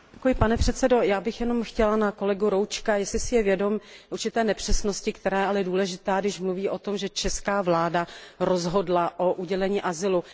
Pane předsedající, já bych se chtěla zeptat kolegy Roučka, jestli si je vědom určité nepřesnosti, která je ale důležitá, když mluví o tom, že česká vláda rozhodla o udělení azylu.